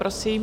Prosím.